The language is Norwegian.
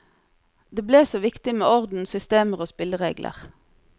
Det ble så viktig med orden, systemer og spilleregler.